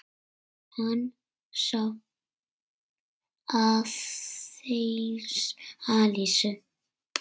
Hann sá aðeins Elísu.